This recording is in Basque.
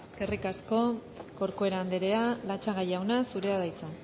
eskerrik asko corcuera andrea latxaga jauna zurea da hitza